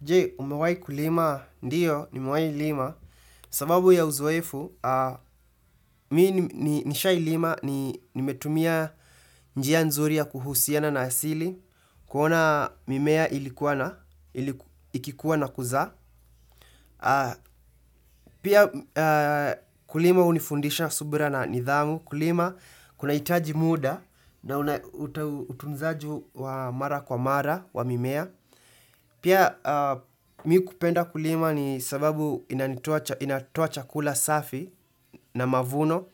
Je, umewahi kulima, ndiyo, nimewahi lima, sababu ya uzoefu, mimi nishawahi lima, nimetumia njia nzuri ya kuhusiana na asili, kuona mimea ilikua na, ikikua na kuzaa. Pia kulima hunifundisha subira na nidhamu, kulima kunahitaji muda na utunzaji wa mara kwa mara wa mimea. Pia mimi kupenda kulima ni sababu inatoa chakula safi na mavuno,